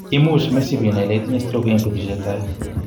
Imuch mesib inai ile itinye stroke en betusiek chetai